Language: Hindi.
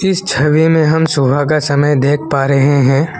इस छवि में हम सुबह का समय देख पा रहे हैं।